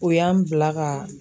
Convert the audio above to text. O y'an bila ka.